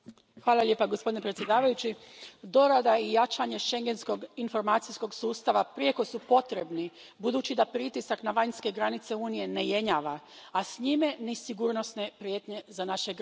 Gospodine predsjedavajući, dorada i jačanje Schengenskog informacijskog sustava prijeko su potrebni budući da pritisak na vanjske granice Unije ne jenjava, a s njime ni sigurnosne prijetnje za naše građane.